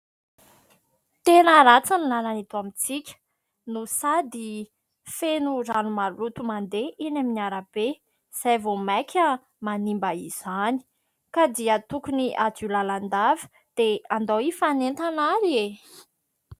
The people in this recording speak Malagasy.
Tena ratsy ny lalana eto amintsika no sady feno rano maloto mandeha eny amin'ny arabe izay vao maika manimba izany ka dia tokony hadio lalandava, dia andao hifanentana ary e !.